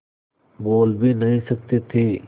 बोल भी नहीं सकते थे